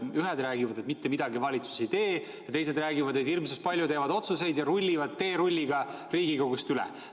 Ühed räägivad, et valitsus mitte midagi ei tee, ja teised räägivad, et hirmus palju teevad otsuseid ja rullivad teerulliga Riigikogust üle.